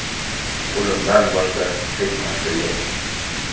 o‘limdan boshqa hech narsa yo‘q.